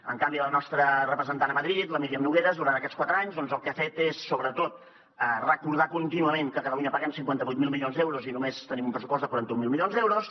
en canvi la nostra representant a madrid la míriam nogueras durant aquests quatre anys doncs el que ha fet és sobretot recordar contínuament que a catalunya paguem cinquanta vuit mil milions d’euros i només tenim un pressupost de quaranta mil milions d’euros